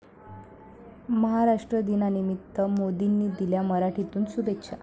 महाराष्ट्र दिनानिमित्त मोदींनी दिल्या मराठीतून शुभेच्छा!